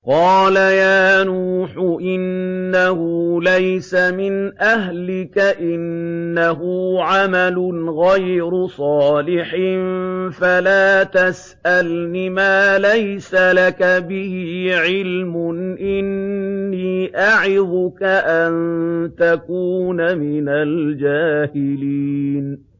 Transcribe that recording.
قَالَ يَا نُوحُ إِنَّهُ لَيْسَ مِنْ أَهْلِكَ ۖ إِنَّهُ عَمَلٌ غَيْرُ صَالِحٍ ۖ فَلَا تَسْأَلْنِ مَا لَيْسَ لَكَ بِهِ عِلْمٌ ۖ إِنِّي أَعِظُكَ أَن تَكُونَ مِنَ الْجَاهِلِينَ